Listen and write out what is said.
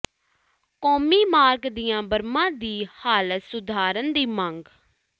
ਕੌਮੀ ਮਾਰਗ ਦੀਆਂ ਬਰਮਾਂ ਦੀ ਹਾਲਤ ਸੁਧਾਰਨ ਦੀ ਮੰਗ